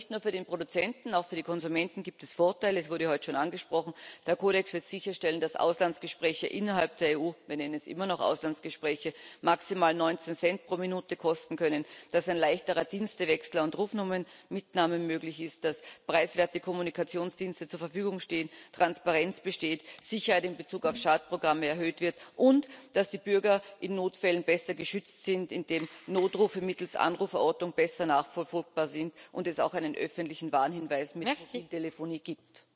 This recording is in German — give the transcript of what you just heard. Aber nicht nur für den Produzenten, auch für die Konsumenten gibt es Vorteile es wurde heute schon angesprochen Der Kodex wird sicherstellen, dass Auslandsgespräche innerhalb der EU wir nennen es immer noch Auslandsgespräche maximal 19 Cent pro Minute kosten können, dass ein leichterer Dienstewechsel und Rufnummernmitnahme möglich ist, dass preiswerte Kommunikationsdienste zur Verfügung stehen, Transparenz besteht, Sicherheit in Bezug auf Schadprogramme erhöht wird und dass die Bürger in Notfällen besser geschützt sind, indem Notrufe mittels Anruferortung besser nachverfolgbar sind und es auch einen öffentlichen Warnhinweis mit Profil Telefonie gibt.